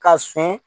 Ka sɔn